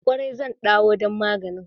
Kwarai, zan ɗawo don maganin.